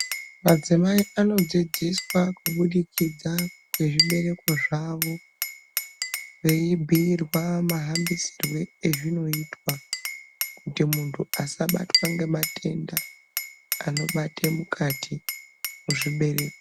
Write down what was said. Adzimai anodzidziswa kubudikidza kwezvibereko zvawo veibhuyirwa mahambisirwe ezvinoitwa kuti muntu asabatwa ngematenda anobate mukati muzvibereko.